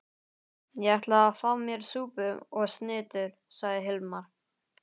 Ég ætla að fá mér súpu og snittur, sagði Hilmar.